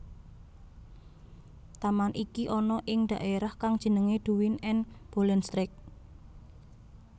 Taman iki ana ing dhaerah kang jenenge Duin en Bollenstreek